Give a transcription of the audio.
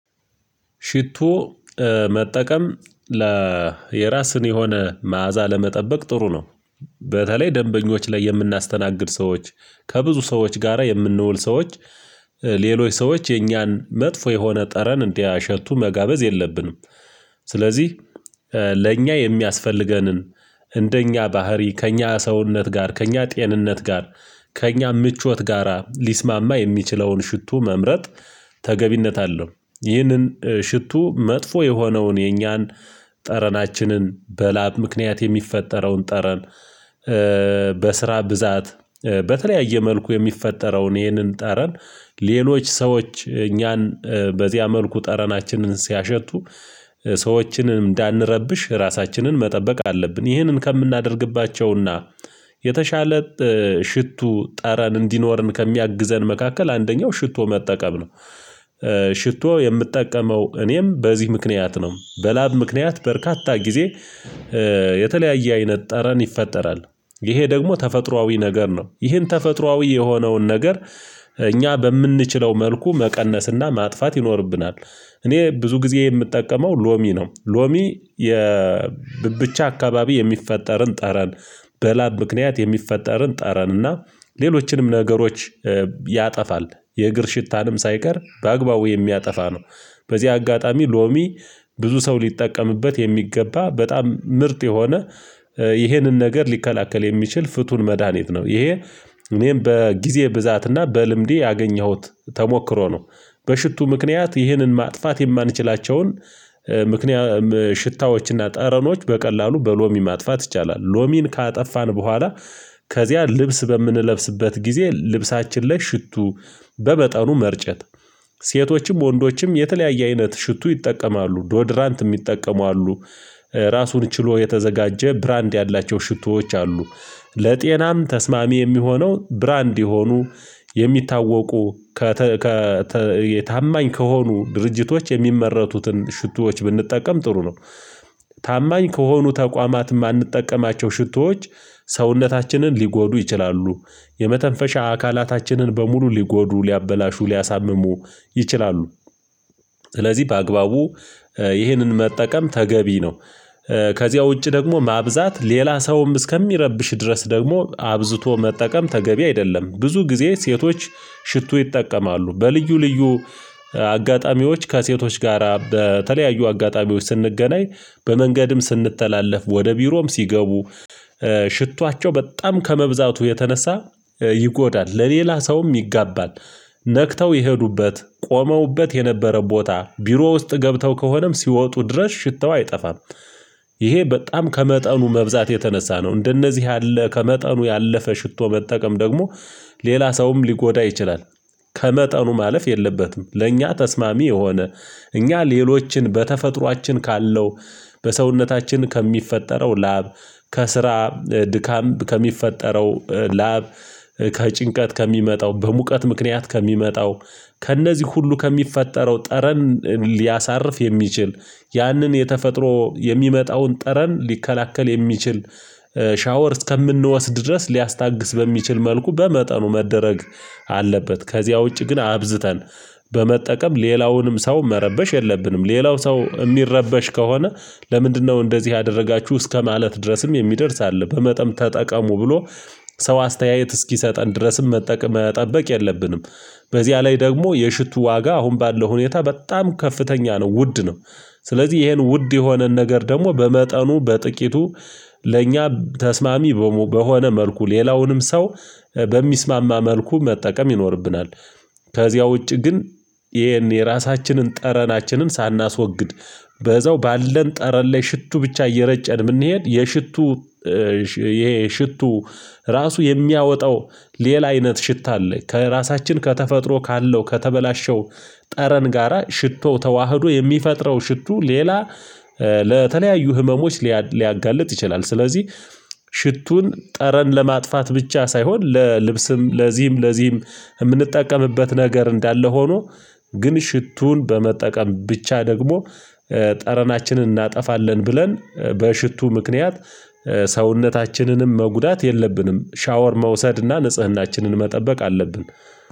ሽቶ መጠቀም የራስን የሆነ መዓዛ ለመጠበቅ ጥሩ ነው። በተለይ ደንበኞች ላይ የምናስተናግድ ሰዎች ከብዙ ሰዎች ጋራ የምንውል ሰዎች ሌሎች ሰዎች የኛን መጥፎ የሆነ ጠረን እንዲያሸቱ መጋበዝ የለብንም። ስለዚህ ለእኛ የሚያስፈልገንን እንደኛ ባህሪ ከእኛ ሰውነት ጋር ከእኛ ጤንነት ጋር ከእኛ ምቾት ጋራ ሊስማማ የሚችለውን ሽቶ መምረጥ ተገቢነት አለው። ይህንን ሽቶ መጥፎ የሆነውን የኛን ጠረናችንን በላብ ምክንያት የሚፈጠረውን ጠረን። በስራ ብዛት በተለያየ መልኩ የሚፈጠረውን ይሄንን ጠረን ሌሎች ሰዎች እኛን በዚያ መልኩ ጠረናችንን ሲያሸቱ ሰዎችንም እንዳንረብሽ ራሳችንን መጠበቅ አለብን። ይህንን ከምናደርግባቸውና የተሻለ ሽቱ ጠረን እንዲኖረን ከሚያግዘን መካከል አንደኛው ሽቶ መጠቀም ነው። ሽቶ የምጠቀመው እኔም በዚህ ምክንያት ነው። በላብ ምክንያት በርካታ ጊዜ የተለያየ አይነት ጠረን ይፈጠራል። ይሄ ደግሞ ተፈጥሮአዊ ነገር ነው ይሄን ተፈጥሮአዊ የሆነውን ነገር እኛ በምንችለው መልኩ መቀነስና ማጥፋት ይኖርብናል። እኔ ብዙ ጊዜ የምጠቀመው ሎሚ ነው። ሎሚ የብቻ አካባቢ የሚፈጠርን ጠረን በላብ ምክንያት የሚፈጠርን ጠረን እና ሌሎችንም ነገሮች ያጠፋል። የእግር ሽታንም ሳይቀር በአግባቡ የሚያጠፋ ነው። በዚህ አጋጣሚ ሎሚ ብዙ ሰው ሊጠቀምበት የሚገባ በጣም ምርጥ የሆነ ይሄንን ነገር ሊከላከል የሚችል ፍቱን መድሃኒት ነው። ይሄ እኔም በጊዜ ብዛት እና በልምዴ ያገኘሁት ተሞክሮ ነው። በሽቱ ምክንያት ይህንን ማጥፋት የማንችላቸውን ምክንያት ሽታዎችና ጠረኖች በቀላሉ በሎሚ ማጥፋት ይቻላል። ሎሚን ካጠፋን በኋላ ከዚያ ልብስ በምንለብስበት ጊዜ ልብሳችን ላይ ሽቱ በመጠኑ መርጨት። ሴቶችም ወንዶችም የተለያየ አይነት ሽቱ ይጠቀማሉ ዶድራንት የሚጠቀሙ አሉ። ራሱን ችሎ የተዘጋጀ ብራንድ ያላቸው ሽቶዎች አሉ። ለጤናም ተስማሚ የሚሆነው ብራንድ የሆኑ የሚታወቁ ከታማኝ ከሆኑ ድርጅቶች የሚመረቱትን ሽቶዎች ብንጠቀም ጥሩ ነው። ታማኝ ከሆኑ ተቋማት የማንጠቀማቸው ሽቶዎች ሰውነታችንን ሊጎዱ ይችላሉ። የመተንፈሻ አካላታችንን በሙሉ ሊጎዱ ሊያበላሹ ሊያሳምሙ ይችላሉ። ስለዚህ በአግባቡ ይህንን መጠቀም ተገቢ ነው። ከዚያ ውጪ ደግሞ ማብዛት ሌላ ሰውም እስከሚረብሽ ድረስ ደግሞ አብዝቶ መጠቀም ተገቢ አይደለም። ብዙ ጊዜ ሴቶች ሽቶ ይጠቀማሉ በልዩ ልዩ አጋጣሚዎች ከሴቶች ጋራ በተለያዩ አጋጣሚዎች ስንገናኝ በመንገድም ስንተላለፍ ወደ ቢሮም ሲገቡ ሽቷቸው በጣም ከመብዛቱ የተነሳ ይጎዳል ለሌላ ሰውም ይጋባል። ነክተው የሄዱበት ቆመውበት የነበረው ቦታ ቢሮ ውስጥ ገብተው ከሆነም ሲወጡ ድረስ ሽታው አይጠፋም። ይሄ በጣም ከመጠኑ መብዛት የተነሳ ነው። እንደነዚህ ያለ ከመጠኑ ያለፈ ሽቶ መጠቀም ደግሞ ሌላ ሰውም ሊጎዳ ይችላል። ከመጠኑ ማለፍ የለበትም። ለእኛ ተስማሚ የሆነ እኛ ሌሎችን በተፈጥሮአችን ካለው በሰውነታችን ከሚፈጠረው ላብ ከስራ ድካም ከሚፈጠረው ላብ ከጭንቀት ከሚመጣው በሙቀት ምክንያት ከሚመጣው ከእነዚህ ሁሉ ከሚፈጠረው ጠረን ሊያሳርፍ የሚችል ያንን የተፈጥሮ የሚመጣውን ጠረን ሊከላከል የሚችል ሻወር እስከምንወስድ ድረስ ሊያስታግስ በሚችል መልኩ በመጠኑ መደረግ አለበት። ከዚያ ውጪ ግን አብዝተን በመጠቀም ሌላውንም ሰው መረበሽ የለብንም። ሌላው ሰው የሚረበሽ ከሆነ ለምንድነው እንደዚህ ያደረጋችሁ እስከማለት ድረስም የሚደርስ አለ። በመጠም ተጠቀሙ ብሎ ሰው አስተያየት እስኪሰጠን ድረስም መጠበቅ የለብንም። በዚያ ላይ ደግሞ የሽቱ ዋጋ አሁን ባለው ሁኔታ በጣም ከፍተኛ ነው ውድ ነው። ስለዚህ ይሄን ውድ የሆነን ነገር ደግሞ በመጠኑ በጥቂቱ ለእኛ ተስማሚ በሆነ መልኩ ሌላውንም ሰው በሚስማማ መልኩ መጠቀም ይኖርብናል። ከዚያ ውጪ ግን ይሄን የራሳችንን ጠረናችንን ሳናስወግድ በዛው ባለን ጠረን ላይ ሽቱ ብቻ እየረጨን የምንሄድ የሽቱ። ይሄ ሽቱ ራሱ የሚያወጣው ሌላ አይነት ሽታ አለ። ከራሳችን ከተፈጥሮ ካለው ከተበላሸው ጠረን ጋራ ሽቶ ተዋህዶ የሚፈጥረው ሽቱ ሌላ። ለተለያዩ ህመሞች ሊያጋልጥ ይችላል። ስለዚህ ሽቱን ጠረን ለማጥፋት ብቻ ሳይሆን ለልብስም ለዚህም ለዚህም የምንጠቀምበት ነገር እንዳለ ሆኖ። ግን ሽቱን በመጠቀም ብቻ ደግሞ ጠረናችንን እናጠፋለን ብለን በሽቱ ምክንያት ሰውነታችንንም መጉዳት የለብንም። ሻወር መውሰድና ንጽህናችንን መጠበቅ አለብን።